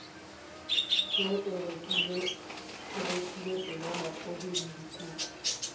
t o rekile senomaphodi ledikuku